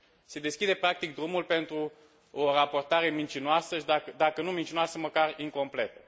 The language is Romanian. Se deschide, practic, drumul pentru o raportare mincinoasă și, dacă nu mincinoasă, măcar incompletă.